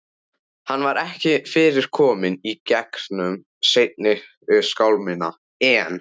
Hann var ekki fyrr kominn í gegnum seinni skálmina en